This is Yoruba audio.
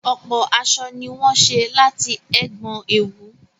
Ọ̀pọ̀ aṣọ ni wọ́n ṣé láti ẹ̀gbọn òwú